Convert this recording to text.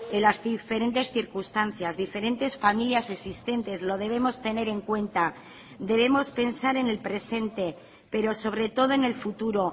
en las diferentes circunstancias diferentes familias existentes lo debemos tener en cuenta debemos pensar en el presente pero sobre todo en el futuro